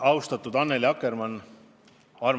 Austatud Annely Akkermann!